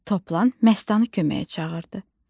Toplan Məstanı köməyə çağırdı.